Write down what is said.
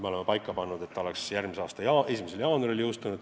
Me oleme paika pannud, et seadus jõustuks järgmise aasta 1. jaanuaril.